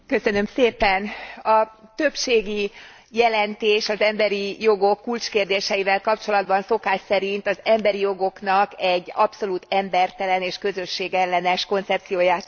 A többségi jelentés az emberi jogok kulcskérdéseivel kapcsolatban szokás szerint az emberi jogoknak egy abszolút embertelen és közösségellenes koncepcióját tette magáévá.